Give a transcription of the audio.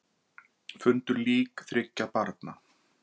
Fundu lík þriggja barna